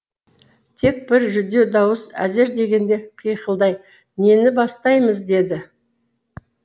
тек бір жүдеу дауыс әзер дегенде қиқылдай нені бастаймыз деді